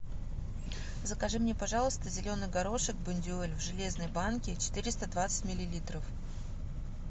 закажи мне пожалуйста зеленый горошек бондюэль в железной банке четыреста двадцать миллилитров